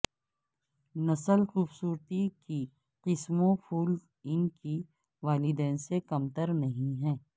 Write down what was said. نسل خوبصورتی کی قسموں پھول ان کے والدین سے کمتر نہیں ہے